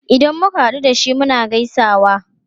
Idan muka hadu da shi, muna gaisawa.